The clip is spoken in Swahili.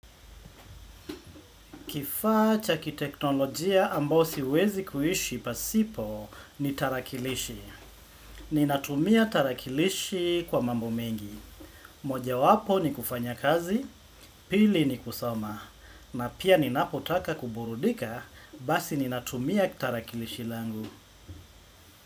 Kifaa cha kiteknolojia ambao siwezi kuishi pasipo ni tarakilishi. Ninatumia tarakilishi kwa mambo mengi. Mojawapo ni kufanya kazi, pili ni kusoma. Na pia ninapotaka kuburudika, basi ninatumia tarakilishi langu.